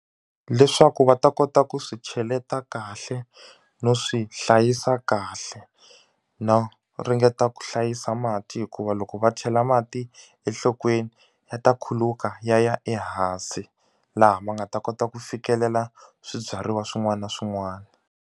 Leswaku va ta kota ku swi cheleta kahle no swi hlayisa kahle no ringeta ku hlayisa mati hikuva loko va chela mati enhlokweni ya ta khuluka ya ya ehansi laha ma nga ta kota ku fikelela swibyariwa swin'wana na swin'wana.